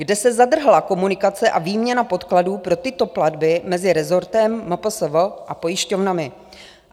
Kde se zadrhla komunikace a výměna podkladů pro tyto platby mezi rezortem, MPSV a pojišťovnami?